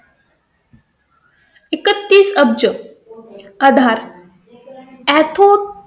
एकतीस अब्ज आधार.